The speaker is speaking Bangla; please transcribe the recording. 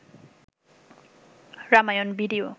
রামায়ন ভিডিও